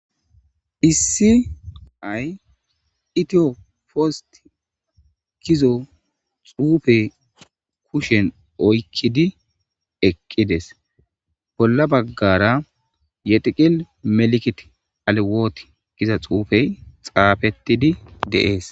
Issi ay itiyo poost kizo xuufe kushen oykkidi eqqides bolla baggara yetiqil meli'ikit alewoot giza xuufey xaafettidi de'ees.